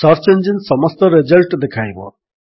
search engine ସମସ୍ତ result ଦେଖାଇବ